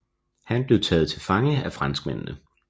Han blev taget til fange af franskmændene